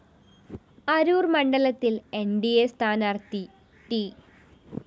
അരൂര്‍ മണ്ഡലത്തില്‍ N D A സ്ഥാനാര്‍ത്ഥി ട്‌